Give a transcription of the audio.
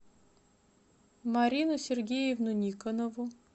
марину сергеевну никонову